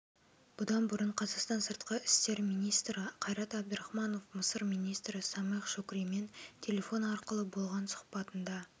бұдан бұрын қазақстан сыртқы істер министрі қайрат әбдархманов мысыр министрі самех шукримен телефон арқылы болған сұхбатында